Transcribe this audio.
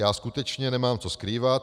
Já skutečně nemám co skrývat.